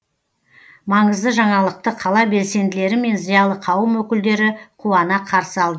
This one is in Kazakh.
маңызды жаңалықты қала белсенділері мен зиялы қауым өкілдері қуана қарсы алды